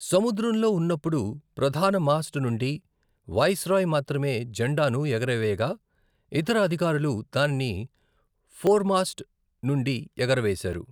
సముద్రంలో ఉన్నప్పుడు, ప్రధాన మాస్ట్ నుండి వైస్రాయ్ మాత్రమే జెండాను ఎగురవేయగా, ఇతర అధికారులు దానిని ఫోర్మాస్ట్ నుండి ఎగుర వేశారు.